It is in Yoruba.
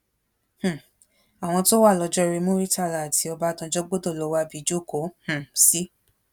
um àwọn tó wà lọjọorí muritàlá àti ọbásanjọ́ gbọdọ lọọ wábi jókòó um sí